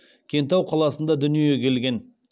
кентау қаласында дүниеге келген